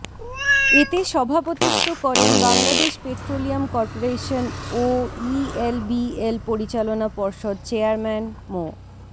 এতে সভাপতিত্ব করেন বাংলাদেশ পেট্রোলিয়াম করপোরেশন ও ইএলবিএল পরিচালনা পর্ষদ চেয়ারম্যান মো